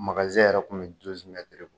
yɛrɛ kun bi bɔ.